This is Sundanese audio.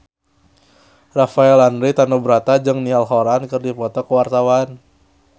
Rafael Landry Tanubrata jeung Niall Horran keur dipoto ku wartawan